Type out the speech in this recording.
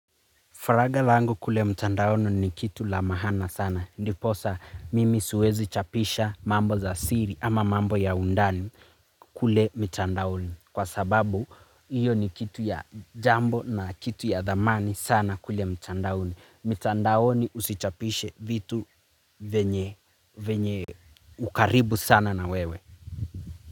Faraga langu kule mtandaoni ni kitu la maana sana. Ndiposa mimi siwezi chapisha mambo za siri ama mambo ya undani kule mitandaoni. Kwa sababu, hiyo ni kitu ya jambo na kitu ya dhamani sana kule mtandaoni. Mitandaoni usichapishe vitu vyenye, vyenye, ukaribu sana na wewe.